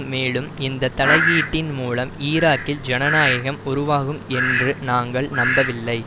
மேலும் இந்த தலையீட்டின் மூலம் ஈராக்கில் ஜனநாயகம் உருவாகும் என்று நாங்கள் நம்பவில்லை